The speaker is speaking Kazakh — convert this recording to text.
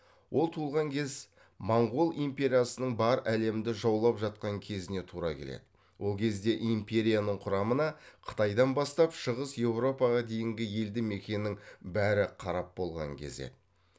ол туылған кез моңғол империясының бар әлемді жаулап жатқан кезіне тура келеді ол кезде империяның құрамына қытайдан бастап шығыс еуропаға дейінгі елді мекеннің бәрі қарап болған кез еді